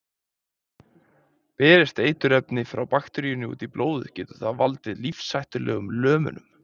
Berist eiturefni frá bakteríunni út í blóðið getur það valdið lífshættulegum lömunum.